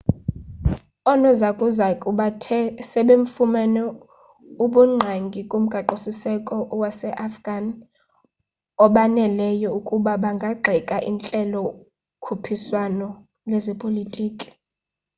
oonozakuzaku bathe sebefumane ubungqangi kumgaqo-siseko waseafghan obaneleyo ukuba bangagxeka intlelo-khuphiswano yezepolitki